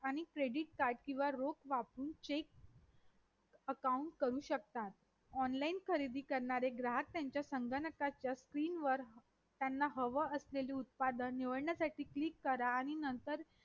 आणि credit card किंवा रोख वापरून check account करू शिकतात online खरेदी करणारे ग्राहक त्यांच्या संगणकाच्या screen वर त्यांना हवे असलेले उत्पादन निवडण्यासाठी click करा आणि